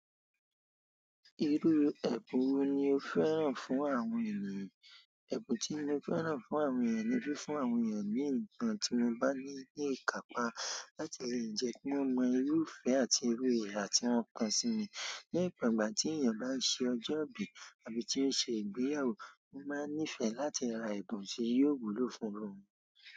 Irú ẹ̀bùn wo ni o fẹ́ràn fún àwọn ènìyàn? Ẹ̀bùn tí mo fẹ́ràn fún àwọn ènìyàn ni fí fún àwọn ènìyàn ní ǹkan tí mo bá ní ní ìkápá láti lè jẹ́ kí wọ́n mọ irú ìfẹ́ àti iru iha tí wọ́n ko sí mi. Ní ìgbàgbà tí ènìyàn bá ṣe ọjọ́ ìbí àbí tí ó ṣe ìgbéyàwó, mo máa nífẹ̀ẹ́ láti ra ẹ̀bùn tí yóò wúlò fún wọn.